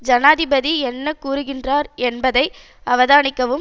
ஜனாதிபதி என்ன கூறிகின்றார் என்பதை அவதானிக்கவும்